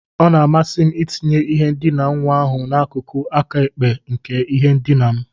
Ọ na-amasị m itinye ihe ndina nwa ahụ n'akụkụ aka ekpe nke ihe ndina m.